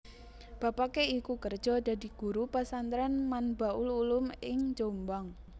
Bapake iku kerja dadi Guru Pesantren Manbaul Ulum ing Jombang